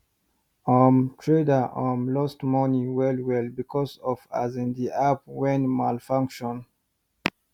um trader um lost money well well because of um the app wen malfunction